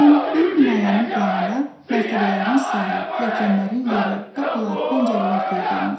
Məsələn, böyük binaların planında mərtəbələrin sayı, pilləkənlərin yeri, qapılar, pəncərələr qeyd olunur.